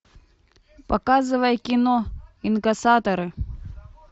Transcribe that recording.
показывай кино инкассаторы